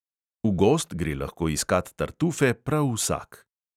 V gozd gre lahko iskat tartufe prav vsak.